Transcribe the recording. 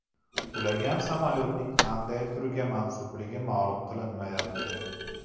Qulagan samolyotning qanday turga mansubligi ma’lum qilinmayapti.